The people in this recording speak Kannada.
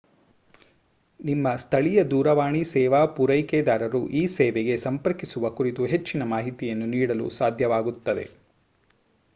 ನಿಮ್ಮ ಸ್ಥಳೀಯ ದೂರವಾಣಿ ಸೇವಾ ಪೂರೈಕೆದಾರರು ಈ ಸೇವೆಗೆ ಸಂಪರ್ಕಿಸುವ ಕುರಿತು ಹೆಚ್ಚಿನ ಮಾಹಿತಿಯನ್ನು ನೀಡಲು ಸಾಧ್ಯವಾಗುತ್ತದೆ